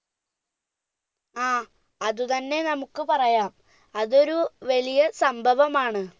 ആ അത് തന്നെ നമ്മുക്ക് പറയാം അതൊരു വലിയ സംഭവമാണ്